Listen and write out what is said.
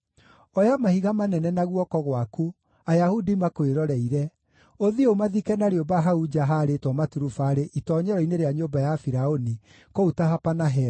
“Oya mahiga manene na guoko gwaku, Ayahudi makwĩroreire, ũthiĩ ũmathike na rĩũmba hau nja haarĩtwo maturubarĩ itoonyero-inĩ rĩa nyũmba ya Firaũni kũu Tahapanahesi.